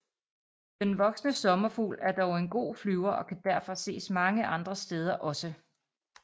Den voksne sommerfugl er dog en god flyver og kan derfor ses mange andre steder også